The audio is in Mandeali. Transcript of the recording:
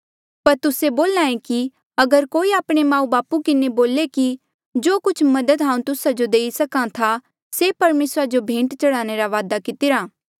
पर तुस्से बोल्हा ऐें कि अगर कोई आपणे माऊबापू किन्हें बोले कि जो कुछ मदद हांऊँ तुस्सा जो देई सक्हा था से परमेसरा जो भेंट चढ़ाणे रा वादा कितिरा